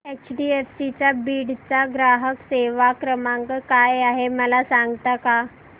HDFC Beed चा ग्राहक सेवा क्रमांक काय आहे मला सांगता का